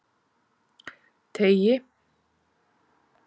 Teigi